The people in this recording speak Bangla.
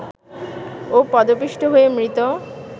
ও পদপিষ্ট হয়ে মৃত